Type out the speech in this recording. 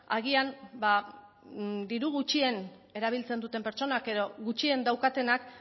agian diru gutxien erabiltzen duten pertsonak edo gutxien daukatenak